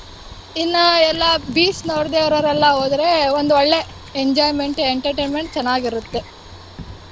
ಇನ್ನ ಎಲ್ಲ beach ನೋಡ್ದೆ ಇರೋರೆಲ್ಲಾ ಹೋದ್ರೆ ಒಂದೊಳ್ಳೆ enjoyment, entertainment ಚೆನ್ನಾಗಿರುತ್ತೆ.